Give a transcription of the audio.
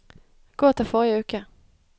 gå til forrige uke